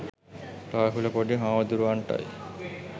රාහුල පොඩි හාමුදුරුවන්ටයි.